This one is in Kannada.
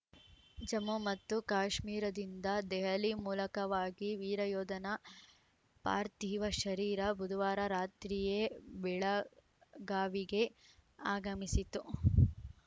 ಜಮ್ಮು ಮತ್ತು ಕಾಶ್ಮೀರದಿಂದ ದೆಹಲಿ ಮೂಲಕವಾಗಿ ವೀರಯೋಧನ ಪಾರ್ಥಿವ ಶರೀರ ಬುಧವಾರ ರಾತ್ರಿಯೇ ಬೆಳಗಾವಿಗೆ ಆಗಮಿಸಿತು